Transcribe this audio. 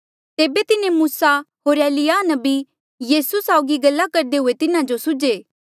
तेबे तिन्हें मूसा होर एलिय्याह नबी यीसू साउगी गल्ला करदे हुये तिन्हा जो सुझ्हे